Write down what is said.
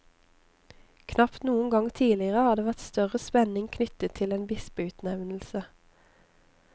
Knapt noen gang tidligere har det vært større spenning knyttet til en bispeutnevnelse.